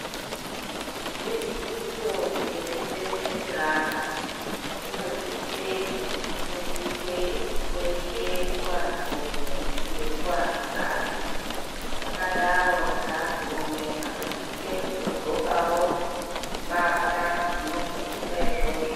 Dzidziso yekuberekwe kweana inosise kuti ifundiswe kweshe kuantu rume nekuantu kadzi zvakadaro ngaantu rume anosise kutodxokawo mbatya dzinofundisa izvozvo.